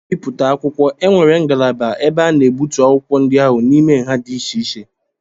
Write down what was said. N'ibipụta akwụkwọ, e nwere ngalaba ebe a na-egbutu akwụkwọ ndị ahụ n'ime nha di iche-iche